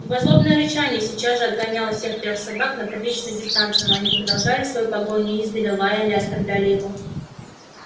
его злобное рычание сейчас же отгоняло всех трёх собак на приличную дистанцию но они продолжали свою погоню издали лаяли оскорбляли его